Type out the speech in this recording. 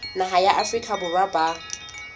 naha ya afrika borwa ba